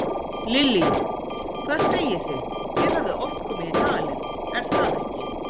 Lillý: Hvað segið þið, þið hafið oft komið í dalinn, er það ekki?